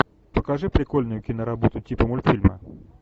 покажи прикольную киноработу типа мультфильма